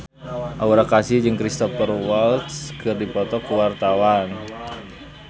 Aura Kasih jeung Cristhoper Waltz keur dipoto ku wartawan